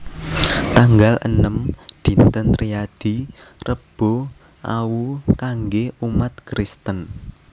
tanggal enem Dinten Riyadi Rebu Awu kanggé umat Kristen